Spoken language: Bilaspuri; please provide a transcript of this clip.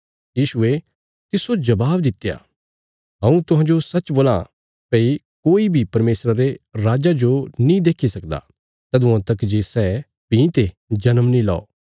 यीशुये तिसजो जबाब दित्या हऊँ तुहांजो सच्च बोलां भई कोई बी परमेशरा रे राज्जा जो देक्खी नीं सकदा तदुआं तक जे सै दोबारा जन्म नीं लौ